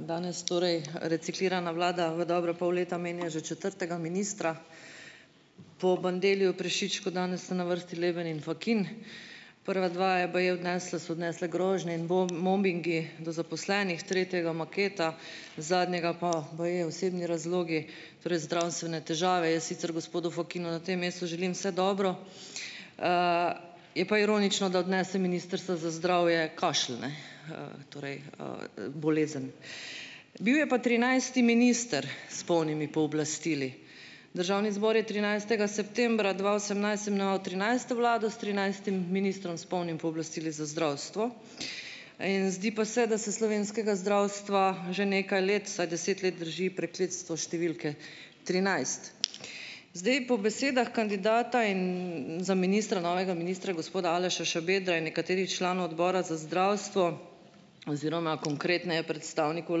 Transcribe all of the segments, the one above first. Danes torej reciklirana vlada v dobra pol leta menja že četrtega ministra. Po Bandelliju, Prešičku danes sta na vrsti Leben in Fakin. Prva dva je baje odnesla so odnesle grožnje in mobingi do zaposlenih, tretjega maketa, zadnjega pa baje osebni razlogi, torej zdravstvene težave. Jaz sicer gospodu Fakinu na tem mestu želim vse dobro, je pa ironično, da odnese ministrstva za zdravje kašelj, ne, torej, bolezen. Bil je pa trinajsti minister s polnimi pooblastili. Državni zbor je trinajstega septembra dva osemnajst imenoval trinajsto vlado s trinajstim ministrom s polnimi pooblastili za zdravstvo in zdi pa se, da se slovenskega zdravstva že nekaj let, vsaj deset let, drži prekletstvo številke trinajst. Zdaj, po besedah kandidata in za ministra, novega ministra, gospoda Aleša Šabedra in nekaterih članov Odbora za zdravstvo, oziroma konkretneje, predstavnikov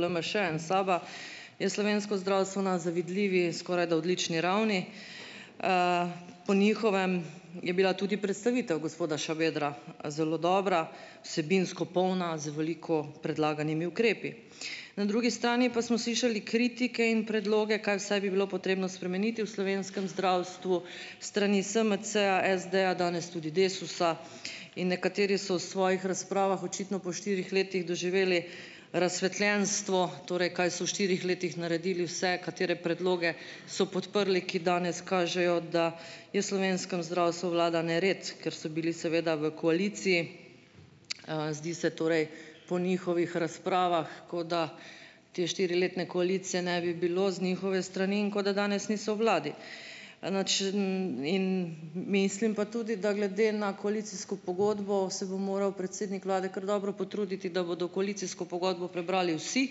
LMŠ-ja in SAB-a, je slovensko zdravstvo na zavidljivi, skorajda odlični ravni. Po njihovem je bila tudi predstavitev gospoda Šabedra zelo dobra. Vsebinsko polna, z veliko predlaganimi ukrepi. Na drugi strani pa smo slišali kritike in predloge, kaj vse bi bilo potrebno spremeniti v slovenskem zdravstvu strani SMC-ja, SD-ja, danes tudi Desusa, in nekateri so v svojih razpravah, očitno po štirih letih, doživeli razsvetljenstvo, torej kaj so v štirih letih naredili vse, katere predloge so podprli, ki danes kažejo, da je slovenskem zdravstvu vlada nered, ker so bili seveda v koaliciji. Zdi se torej, po njihovih razpravah, kot da te štiriletne koalicije ne bi bilo z njihove strani in kot da danes niso v vladi. ... In mislim pa tudi, da glede na koalicijsko pogodbo se bo moral predsednik vlade kar dobro potruditi, da bodo koalicijsko pogodbo prebrali vsi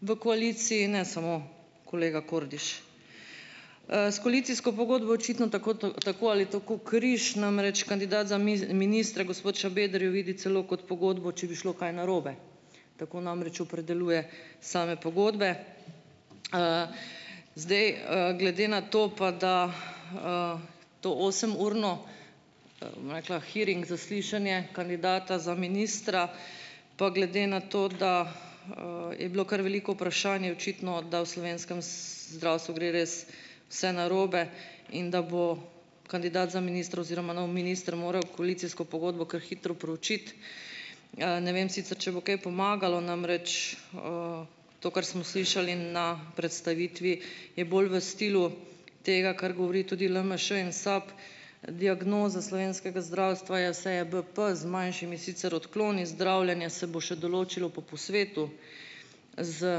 v koaliciji, ne samo kolega Kordiš. S koalicijsko pogodbo je očitno tako ali tako križ. Namreč kandidat za ministra, gospod Šabeder, jo vidi celo kot pogodbo, če bi šlo kaj narobe. Tako namreč opredeljuje same pogodbe. Zdaj glede na to, pa da to osemurno, bom rekla, hearing, zaslišanje, kandidata za ministra pa glede na to, da je bilo kar veliko vprašanj, je očitno, da v slovenskem zdravstvu gre res vse narobe. In da bo kandidat za ministra oziroma nov minister moral koalicijsko pogodbo kar hitro proučiti. Ne vem sicer, če bo kaj pomagalo, namreč to, kar smo slišali na predstavitvi, je bolj v stilu tega, kar govori tudi LMŠ in SAB. Diagnoza slovenskega zdravstva je vse je bp z manjšimi sicer odkloni, zdravljenje se bo še določilo po posvetu z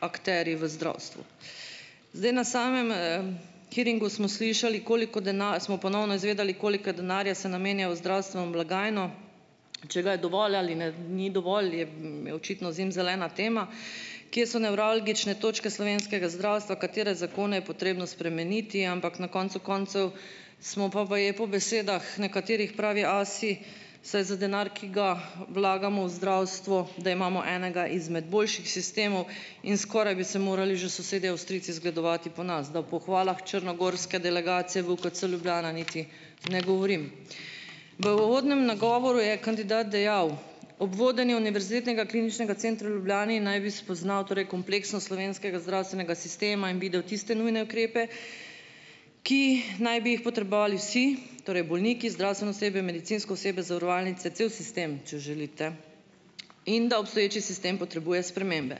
akterji v zdravstvu. Zdaj, na samem hearingu smo slišali, koliko smo ponovno izvedeli, koliko denarja se namenja v zdravstveno blagajno. Če ga je dovolj ali ne ni dovolj, je očitno zimzelena tema. Kje so nevralgične točke slovenskega zdravstva, katere zakone je potrebno spremeniti, ampak na koncu koncev smo pa baje po besedah nekaterih pravi asi, saj za denar, ki ga vlagamo v zdravstvo, da imamo enega izmed boljših sistemov, in skoraj bi se morali že sosedje Avstrijci zgledovati po nas. Da o pohvalah črnogorske delegacije v UKC Ljubljana niti ne govorim. V uvodnem nagovoru je kandidat dejal, ob vodenju Univerzitetnega kliničnega centra v Ljubljani naj bi spoznal, torej, kompleksnost slovenskega zdravstvenega sistema in videl tiste nujne ukrepe, ki naj bi jih potrebovali vsi, torej bolniki, zdravstveno osebje, medicinsko osebje, zavarovalnice, cel sistem, če želite. In da obstoječi sistem potrebuje spremembe.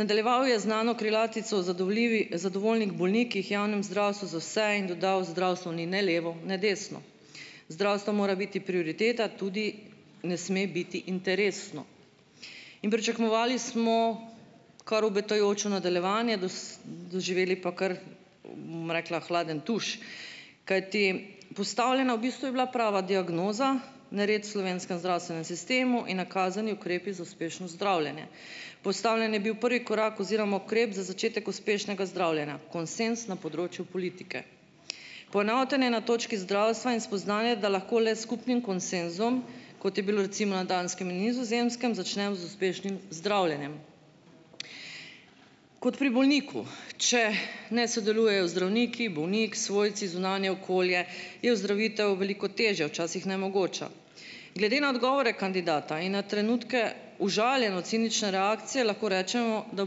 Nadaljeval je z znano krilatico o zadovoljivih, zadovoljnih bolnikih, javnem zdravstvu za vse in dodal: "Zdravstvo ni ne levo ne desno, zdravstvo mora biti prioriteta, tudi ne sme biti interesno." In pričakovali smo, kar obetajoče nadaljevanje, doživeli pa kar, bom rekla, hladen tuš, kajti postavljena v bistvu je bila prava diagnoza, nered v slovenskem zdravstvenem sistemu in nakazani ukrepi za uspešnost zdravljene. Postavljen je bil prvi korak oziroma ukrep za začetek uspešnega zdravljenja, konsenz na področju politike. Poenotenje na točki zdravstva in spoznanje, da lahko le s skupnim konsenzom, kot je bilo recimo na Danskem in Nizozemskem, začnejo z uspešnim zdravljenjem. Kot pri bolniku, če ne sodelujejo zdravniki, bolnik, svojci, zunanje okolje, je ozdravitev veliko težja, včasih nemogoča. Glede na odgovore kandidata in na trenutke užaljeno-cinična reakcija lahko rečemo, da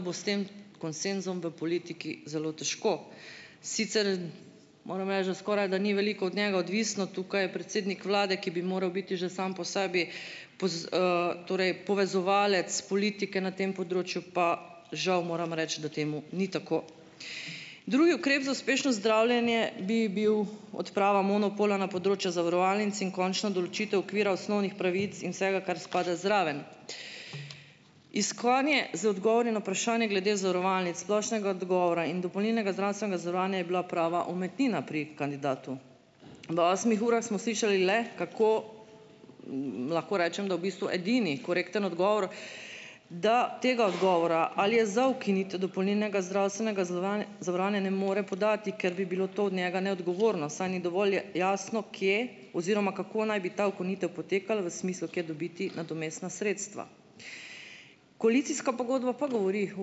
bo s tem konsenzom v politiki zelo težko. Sicer moram reči, da skorajda da ni veliko od njega odvisno, tukaj je predsednik vlade, ki bi moral biti že sam po sebi torej povezovalec politike, na tem področju pa žal moram reči, da temu ni tako. Drugi ukrep za uspešno zdravljenje bi bil odprava monopola na področju zavarovalnic in končna določitev okvira osnovnih pravic in vsega, kar spada zraven. Iskanje z odgovori na vprašanja glede zavarovalnic splošnega odgovora in dopolnilnega zdravstvenega zavarovanja je bila prava umetnina pri kandidatu. V osmih urah smo slišali le kako, lahko rečem, da v bistvu edini korekten odgovor, da tega odgovora, ali je za ukinitev dopolnilnega zdravstvenega zavarovanja, ne more podati, ker bi bilo to od njega neodgovorno, saj ni dovolj jasno, kje oziroma kako naj bi ta ukinitev potekala v smislu, kje dobiti nadomestna sredstva. Koalicijska pogodba pa govori o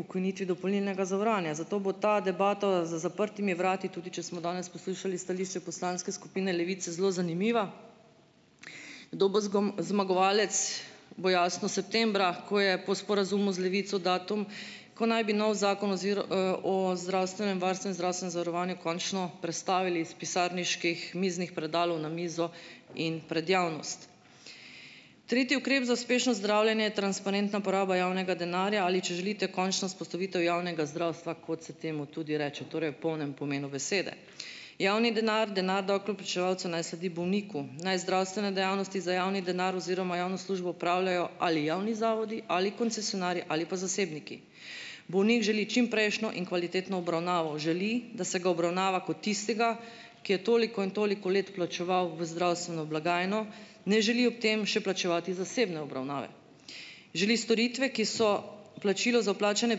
ukinitvi dopolnilnega zavarovanja, zato bo ta debata za zaprtimi vrati, tudi če smo danes poslušali stališče Poslanske skupine Levice, zelo zanimiva. Kdo bo zmagovalec, bo jasno septembra, ko je po sporazumu z Levico datum, ko naj bi novi Zakon o zdravstvenem varstvu in zdravstvenem zavarovanju končno prestavili iz pisarniških miznih predalov na mizo in pred javnost. Tretji ukrep za uspešno zdravljenje je transparentna poraba javnega denarja, ali če želite, končna vzpostavitev javnega zdravstva, kot se temu tudi reče, torej v polnem pomenu besede. Javni denar, denar davkoplačevalcev naj sledi bolniku, naj zdravstveno dejavnost za javni denar oziroma javno službo opravljajo ali javni zavodi ali koncesionarji ali pa zasebniki. Bolnik želi čim prejšnjo in kvalitetno obravnavo, želi, da se ga obravnava kot tistega, ki je toliko in toliko let plačeval v zdravstveno blagajno, ne želi ob tem še plačevati zasebne obravnave. Želi storitve, ki so plačilo za vplačane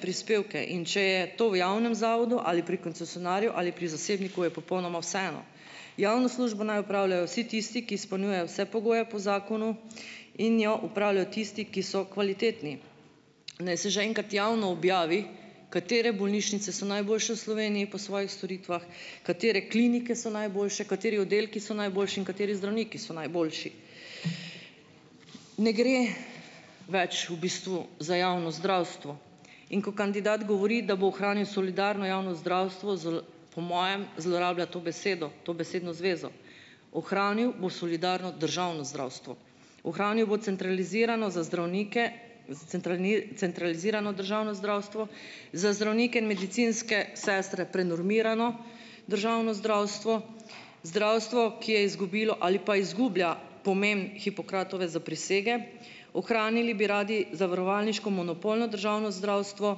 prispevke, in če je to v javnem zavodu ali pri koncesionarju ali pri zasebniku, je popolnoma vseeno. Javno službo naj opravljajo vsi tisti, ki izpolnjujejo vse pogoje po zakonu, in jo opravljajo tisti, ki so kvalitetni. Naj se že enkrat javno objavi, katere bolnišnice so najboljše v Sloveniji po svojih storitvah, katere klinike so najboljše, kateri oddelki so najboljši in kateri zdravniki so najboljši. Ne gre več v bistvu za javno zdravstvo, in ko kandidat govori, da bo ohranil solidarno javno zdravstvo, po mojem zlorablja to besedo, to besedno zvezo. Ohranil bo solidarno državno zdravstvo, ohranil bo centralizirano za zdravnike centralizirano državno zdravstvo, za zdravnike in medicinske sestre prenormirano državno zdravstvo, zdravstvo, ki je izgubilo ali pa izgublja pomen Hipokratove zaprisege, ohranili bi radi zavarovalniško monopolno državno zdravstvo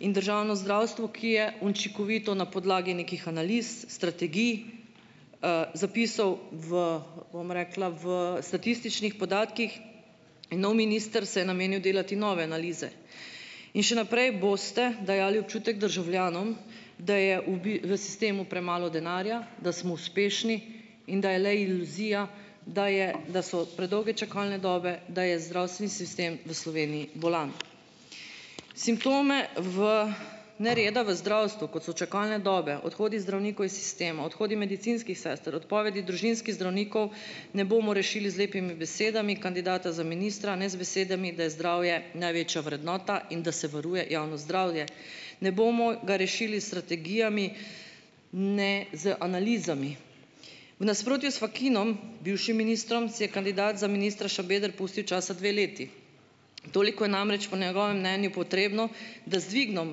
in državno zdravstvo, ki je učinkovito na podlagi nekih analiz, strategij, zapisov v, bom rekla, v statističnih podatkih, nov minister se je namenil delati nove analize. In še naprej boste dajali občutek državljanom, da je v sistemu premalo denarja, da smo uspešni in da je le iluzija, da je, da so predolge čakalne dobe, da je zdravstveni sistem v Sloveniji bolan. Simptome v nereda v zdravstvu, kot so čakalne dobe, odhodi zdravnikov iz sistema, odhodi medicinskih sester, odpovedi družinskih zdravnikov, ne bomo rešili z lepimi besedami kandidata za ministra, ne z besedami, da je zdravje največja vrednota in da se varuje javno zdravje. Ne bomo ga rešili s strategijami ne z analizami. V nasprotju s Fakinom, bivšim ministrom, si je kandidat za ministra Šabeder pustil časa dve leti. Toliko je namreč po njegovem mnenju potrebno, da z dvigom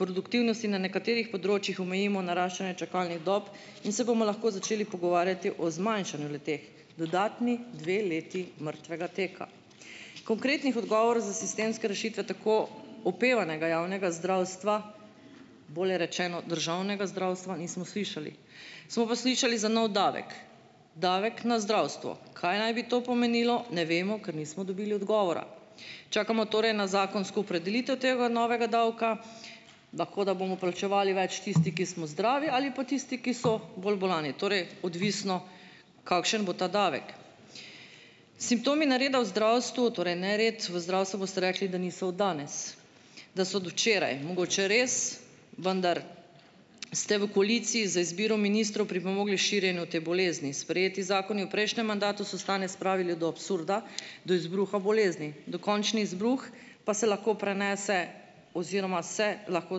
produktivnosti na nekaterih področjih omejimo naraščanje čakalnih dob in se bomo lahko začeli pogovarjati o zmanjšanju le-teh, dodatni dve leti mrtvega tukaj. Konkretnih odgovorov za sistemske rešitve tako opevanega javnega zdravstva, bolje rečeno, državnega zdravstva, nismo slišali. Smo pa slišali za nov davek, davek na zdravstvo; kaj naj bi to pomenilo, ne vemo, ker nismo dobili odgovora. Čakamo torej na zakonsko opredelitev tega novega davka; lahko, da bomo plačevali več tisti, ki smo zdravi, ali pa tisti, ki so bolj bolni, torej odvisno, kakšen bo ta davek. Simptomi nereda v zdravstvu, torej, nered v zdravstvu boste rekli, da niso od danes, da so od včeraj. Mogoče res, vendar ste v koaliciji z izbiro ministrov pripomogli širjenju te bolezni. Sprejeti zakoni v prejšnjem mandatu so stanje spravili do absurda, do izbruha bolezni. Dokončni izbruh pa se lahko prenese oziroma se lahko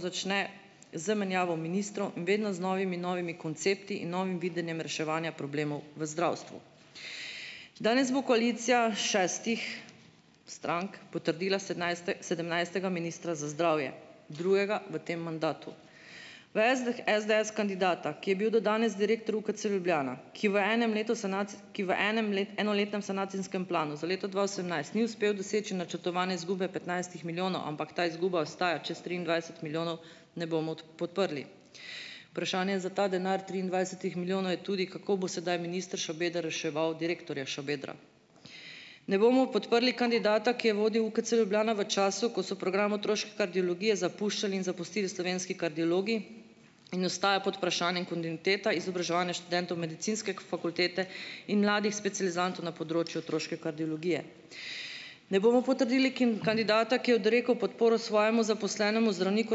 začne z menjavo ministrov, vedno z novimi novimi koncepti in novim videnjem reševanja problemov v zdravstvu. Danes bo koalicija šestih strank potrdila sedemnajstega ministra za zdravje, drugega v tem mandatu. V SDS kandidata, ki je bil do danes direktor Ukc Ljubljana, ki v enem letu enem enoletnem sanacijskem planu za leto dva osemnajst ni uspel doseči načrtovane izgube petnajstih milijonov, ampak ta izguba ostaja čez triindvajset milijonov, ne bomo podprli. Vprašanje za ta denar triindvajsetih milijonov je tudi, kako bo sedaj minister Šabeder reševal direktorja Šabedra. Ne bomo podprli kandidata, ki je vodil UKC Ljubljana v času, ko so program otroške kardiologije zapuščali in zapustili slovenski kardiologi in ostaja pod vprašanjem kontinuiteta izobraževanja študentov Medicinske fakultete in mladih specializantov na področju otroške kardiologije. Ne bomo potrdili kandidata, ki je odrekel podporo svojemu zaposlenemu zdravniku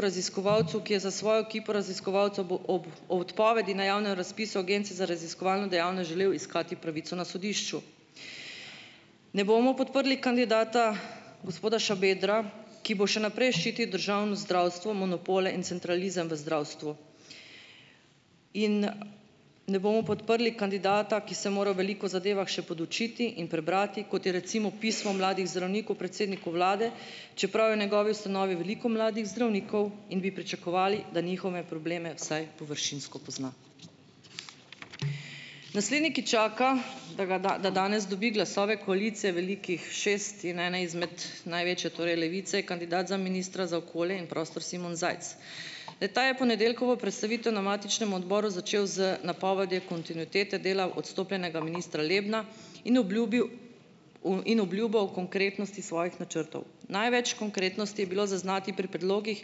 raziskovalcu, ki je za svojo ekipo raziskovalcev ob o odpovedi na javnem razpisu Agencije za raziskovalno dejavnost želel iskati pravico na sodišču. Ne bomo podprli kandidata, gospoda Šabedra, ki bo še naprej ščitil državno zdravstvo, monopole in centralizem v zdravstvu. In ne bomo podprli kandidata, ki se mora o veliko zadevah še podučiti in prebrati, kot je, recimo, pismo mladih zdravnikov predsedniku vlade, čeprav je v njegovi ustanovi veliko mladih zdravnikov in bi pričakovali, da njihove probleme vsaj površinsko pozna. Naslednji, ki čaka, da ga da danes dobi glasove koalicije velikih šest in ene izmed največje, torej Levice, je kandidat za ministra za okolje in prostor Simon Zajc. Le-ta je ponedeljkovo predstavitev na matičnem odboru začel z napovedjo kontinuitete dela odstopljenega ministra Lebna in obljubil in obljubo o konkretnosti svojih načrtov. Največ konkretnosti je bilo zaznati pri predlogih,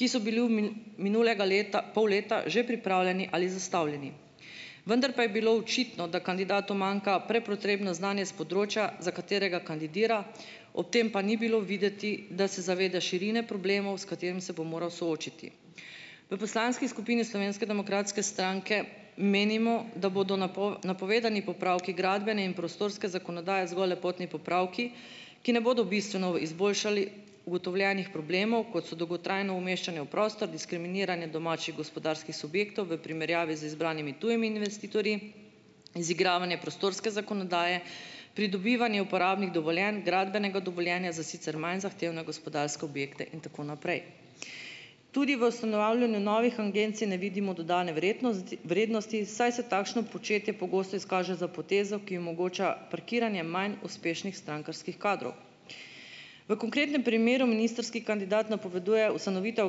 ki so bili v minulega leta pol leta že pripravljeni ali zastavljeni. Vendar pa je bilo očitno, da kandidatu manjka prepotrebno znanje s področja, za katerega kandidira, ob tem pa ni bilo videti, da se zaveda širine problemov, s katerimi se bo moral soočiti. V Poslanski skupini Slovenske demokratske stranke menimo, da bodo napovedani popravki gradbene in prostorske zakonodaje zgolj lepotni popravki, ki ne bodo bistveno izboljšali ugotovljenih problemov, kot so dolgotrajno umeščanje v prostor, diskriminiranje domačih gospodarskih subjektov v primerjavi z izbranimi tujimi investitorji, izigravanje prostorske zakonodaje, pridobivanje uporabnih dovoljenj, gradbenega dovoljenja za sicer manj zahtevne gospodarske objekte in tako naprej. Tudi v ustanavljanju novih agencij ne vidimo dodane vrednosti, saj se takšno početje pogosto izkaže za potezo, ki omogoča parkiranje manj uspešnih strankarskih kadrov. V konkretnem primeru ministrski kandidat napoveduje ustanovitev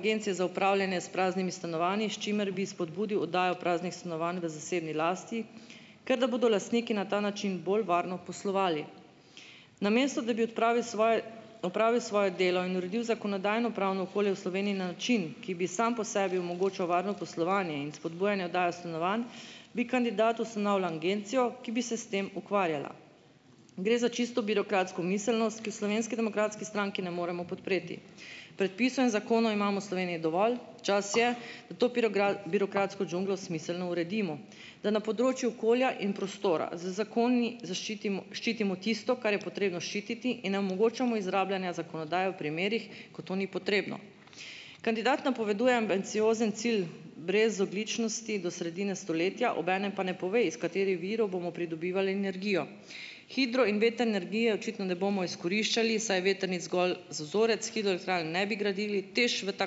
agencije za upravljanje s praznimi stanovanji, s čimer bi spodbudil oddajo praznih stanovanj v zasebni lasti, ker da bodo lastniki na ta način bolj varno poslovali. Namesto da bi odpravil svoje, opravil svoje delo in uredil zakonodajno-pravno okolje v Sloveniji na način, ki bi sam po sebi omogočal varno poslovanje in spodbujanje oddaje stanovanj, bi kandidat ustanavlja agencijo, ki bi se s tem ukvarjala. Gre za čisto birokratsko miselnost, ki je v Slovenski demokratski stranki ne moremo podpreti. Predpisov in zakonov imamo v Sloveniji dovolj, čas je, da to birokratsko džunglo smiselno uredimo. Da na področju okolja in prostora z zakoni zaščitimo ščitimo tisto, kar je treba ščititi, in ne omogočamo izrabljanja zakonodaje v primerih, ko to ni potrebno. Kandidat napoveduje ambiciozen cilj brezogljičnosti do sredine stoletja, obenem pa ne pove, iz katerih virov bomo pridobivali energijo. Hidro in vetrne energije očitno ne bomo izkoriščali, saj je vetrnic zgolj za vzorec, hidroelektrarn ne bi gradili TEŠ v ta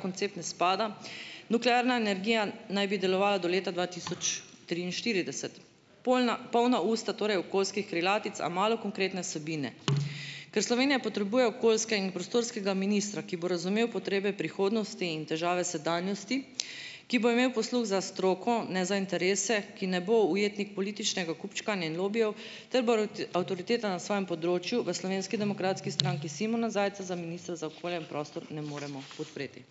koncept ne spada, nuklearna energija naj bi delovala do leta dva tisoč triinštirideset. Polna polna usta torej okoljskih krilatic, a malo konkretne vsebine. Ker Slovenija potrebuje okoljske in prostorskega ministra, ki bo razumel potrebe prihodnosti in težave sedanjosti, ki bo imel posluh za stroko, ne za interese, ki ne bo ujetnik političnega kupčkanja in lobijev ter bo avtoriteta na svojem področju, v Slovenski demokratski stranki Simona Zajca, za ministra za okolje in prostor, ne moremo podpreti.